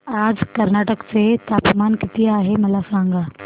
आज कर्नाटक चे तापमान किती आहे मला सांगा